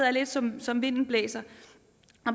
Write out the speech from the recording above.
er lidt som som vinden blæser